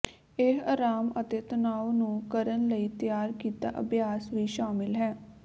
ਇਹ ਆਰਾਮ ਅਤੇ ਤਣਾਅ ਨੂੰ ਕਰਨ ਲਈ ਤਿਆਰ ਕੀਤਾ ਅਭਿਆਸ ਵੀ ਸ਼ਾਮਲ ਹੈ